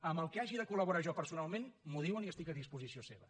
en el que hagi de col·laborar jo personalment m’ho diuen i estic a disposició seva